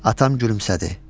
Atam gülümsədi.